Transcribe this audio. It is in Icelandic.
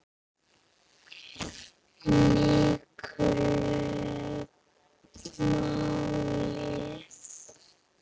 miklu máli.